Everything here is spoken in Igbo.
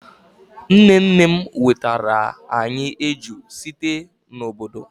nne nnem wetara anyi eju site n'obodo